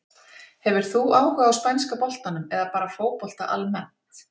Hefur þú áhuga á spænska boltanum eða bara fótbolta almennt?